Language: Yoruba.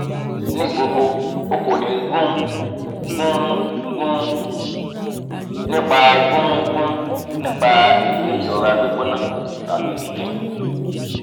ni gbogbo o ko ni gun gun gun nipa gun gun nipa eyikeyi irora gbigbona tabi itching